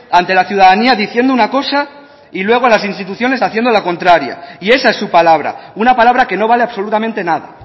ante la ciudadanía diciendo una cosa y luego a las instituciones haciendo la contraria y esa es su palabra una palabra que no vale absolutamente nada